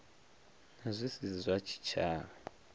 na zwi si zwa tshitshavha